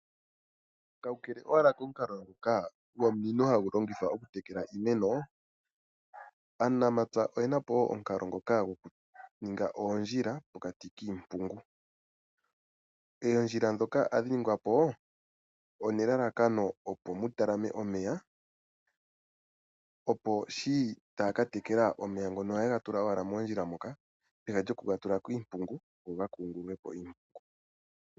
Kakele owala komukalo ngoka gomunino hagu longithwa okutekela iimeno, aanamapya oye na po wo omukalo ngoka gokuninga oondjila pokati kiimpungu. Oondjila ndhoka ohadhi ningwa po nelalakano mu talame omeya, opo shi taya ka tekela omeya ohaye ga tula owala moondjila moka, peha lyoku ga tula kiimpungu go ga kungulule po iimpungu.